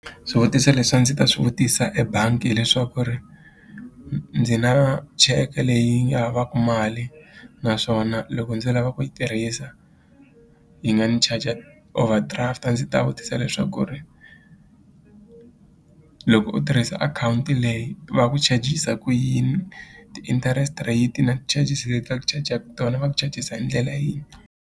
Swivutiso leswi a ndzi ta swi vutisa ebangi hileswaku ri ndzi na cheke leyi nga havaka mali naswona loko ndzi lava ku yi tirhisa yi nga ndzi charger overdraft a ndzi ta vutisa leswaku ri loko u tirhisa akhawunti leyi va ku charg-isa ku yini ti-interest rate na ti-charges leti va ku chajaka tona va ku chajisa hi ndlela yini.